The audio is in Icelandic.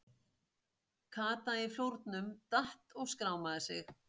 Kata í flórnum, datt og skrámaði sig.